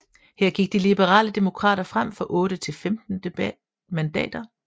Her gik de liberale demokrater frem fra otte til 14 mandater